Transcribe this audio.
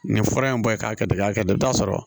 Nin fura in bɔ i k'a kɛ de i k'a kɛ de i bi t'a sɔrɔ